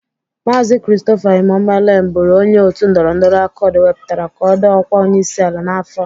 Maazi Kristofa Imụmolen bụru onye Otu ndọrọndọrọ Akọd wepụtara ka ọ dọọ ọkwa onyeisi ala. n'afọ a.